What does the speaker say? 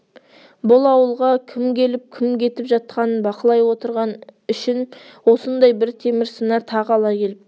бұл ауылға кім келіп кім кетіп жатқанын бақылай отырған үшін осындай бір темір сына тағы ала келіпті